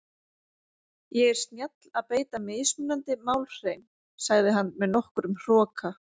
Ég er snjall að beita mismunandi málhreim, sagði hann með nokkrum hroka.